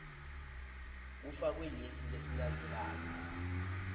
kufakwe lesi lesilandzelako